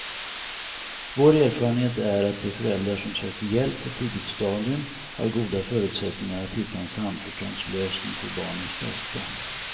Vår erfarenhet är att de föräldrar som söker hjälp på ett tidigt stadium har goda förutsättningar att hitta en samförståndslösning för barnens bästa.